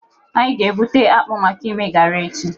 Anyị ga-egwuta akpụ maka ime garị echi.